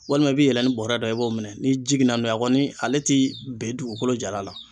Walima i b'i yɛlɛ ni bɔrɛ da i b'o minɛ ni jiginna n'o ye, a kɔni ale tɛ bɛn dugukolo jalan la.